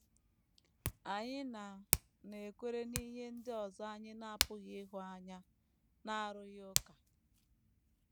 Anyị na - anakwere ihe ndị ọzọ anyị na - apụghị ịhụ anya n’arụghị ụka.